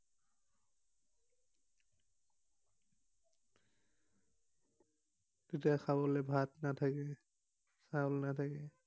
তেতিয়া খাবলে ভাত নাথাকে, চাউল নাথাকে।